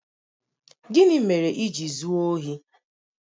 Gịnị mere i ji zuo ya ohi?